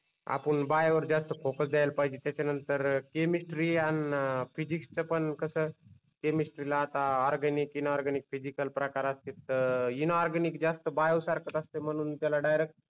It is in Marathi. आपुन बायोवर जास्त फोकस द्याल पाहिजे त्याच्या नंतर केमिस्ट्री आणि फिजिक्सच पन कस केमिस्ट्रीला आता ऑरगॅनिक, इनऑरगॅनिक, फिसिकल प्रकार असतेत तर इनऑरगॅनिक जास्त बायो सारख असते म्हणून त्याला डायरेक्ट